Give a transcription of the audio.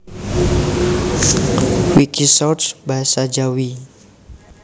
Wikisource basa Jawi